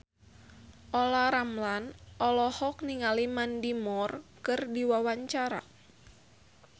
Olla Ramlan olohok ningali Mandy Moore keur diwawancara